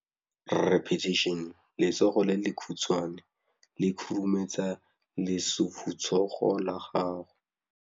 Letsogo le lekhutshwane le khurumetsa lesufutsogo la gago.